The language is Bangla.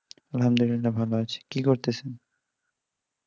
আলহামদুলিল্লাহ ভালো আছি, কি করতেছেন?